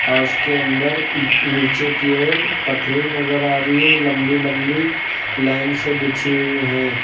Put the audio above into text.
और उसके अंदर नीचे की ओर पटरी नजर आ रही है लंबी लंबी लाइन से बिछी हुई हैं।